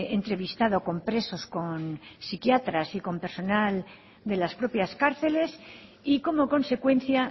entrevistado con presos con psiquiatras y con personal de las propias cárceles y como consecuencia